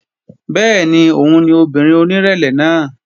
Bẹ́ẹ̀ni òun ni obìnrin onírẹ̀lẹ̀ náà